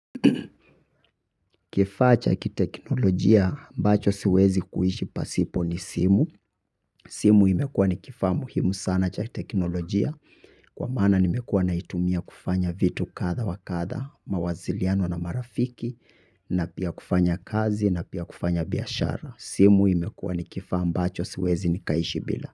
Kifaa cha kiteknolojia ambacho siwezi kuishi pasipo ni simu. Simu imekuwa ni kifaa muhimu sana cha teknolojia kwa maana nimekuwa naitumia kufanya vitu kadha wa kadha, mawasiliano na marafiki na pia kufanya kazi na pia kufanya biashara. Simu imekuwa ni kifaa ambacho siwezi nikaishi bila.